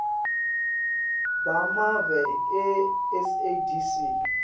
bemave e sadc